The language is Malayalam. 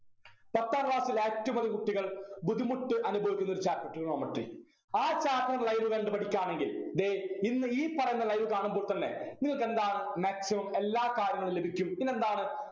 പത്താം class ൽ ഏറ്റവും അധികം കുട്ടികൾ ബുദ്ധിമുട്ട് അനുഭവിക്കുന്നൊരു chapter trigonometry ആ chapter live കണ്ടു പഠിക്കാമെങ്കിൽ ദേ ഇന്ന് ഈ പറയുന്ന live കാണുമ്പോൾ തന്നെ നിങ്ങക്കെന്താണ് maximum എല്ലാ കാര്യങ്ങളും ലഭിക്കും പിന്നെന്താണ്